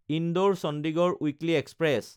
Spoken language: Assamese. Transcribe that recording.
ইন্দোৰ–চণ্ডীগড় উইকলি এক্সপ্ৰেছ